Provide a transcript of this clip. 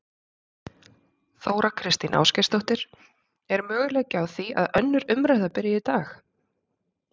Þóra Kristín Ásgeirsdóttir: Er möguleiki á því að önnur umræða byrji í dag?